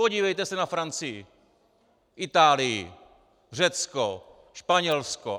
Podívejte se na Francii, Itálii, Řecko, Španělsko.